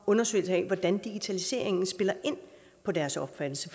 undersøgelse af hvordan digitaliseringen spiller ind på deres opfattelse